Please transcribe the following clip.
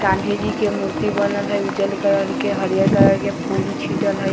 गाँधी जी के मूर्ति बनल हई उज्जर कलर के हरियर कलर के फूल छिटल हई।